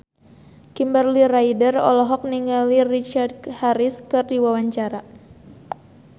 Kimberly Ryder olohok ningali Richard Harris keur diwawancara